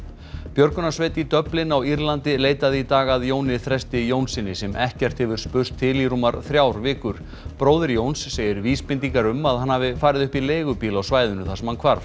björgunarsveit í Dublin á Írlandi leitaði í dag að Jóni Þresti Jónssyni sem ekkert hefur spurst til í rúmar þrjár vikur bróðir Jóns segir vísbendingar um að hann hafi farið upp í leigubíl á svæðinu þar sem hann hvarf